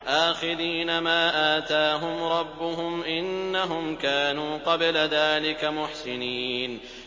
آخِذِينَ مَا آتَاهُمْ رَبُّهُمْ ۚ إِنَّهُمْ كَانُوا قَبْلَ ذَٰلِكَ مُحْسِنِينَ